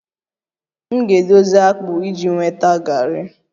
M ga-edozi akpụ iji nweta garri